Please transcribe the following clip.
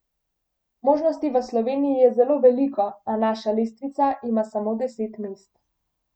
Možnosti v Sloveniji je zelo veliko, a naša lestvica ima samo deset mest.